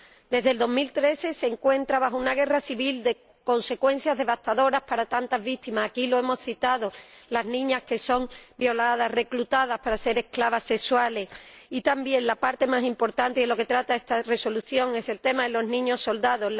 Desde el año 2013 se encuentra inmerso en una guerra civil de consecuencias devastadoras para tantas víctimas aquí lo hemos citado, las niñas que son violadas, reclutadas para ser esclavas sexuales y también, la parte más importante, de la que trata esta propuesta de Resolución, los niños soldado.